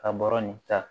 Ka bɔrɔ nin ta